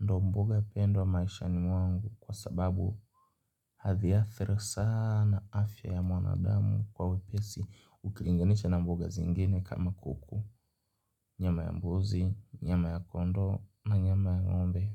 Ndo mboga pendwa maishani mwangu kwa sababu hadhiathiri sana afya ya mwana damu kwa wepesi. Ukilinganisha na mboga zingine kama kuku, nyama ya mbuzi, nyama ya kondoo na nyama ya ng'ombe.